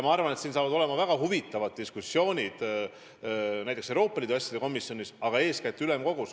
Ma arvan, et ees seisavad väga huvitavad diskussioonid Euroopa Liidu asjade komisjonis, aga eeskätt muidugi ülemkogus.